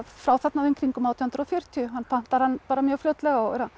frá þarna í kringum átján hundruð og fjörutíu hann pantar hann mjög fljótlega og